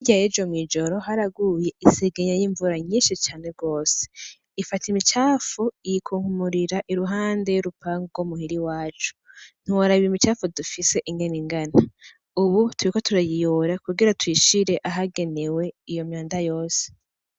Hirya y'ejo mw'ijoro haraguye isegenya y'imvura nyinshi cane gose, ifata imicafu iyikunkumurira iruhande y'urupango rwo muhira iwacu, ntiworaba iyo micafu dufise ingene ingana, ubu turiko turayiyora kugira tuyishire ahagenewe iyo myanda yose.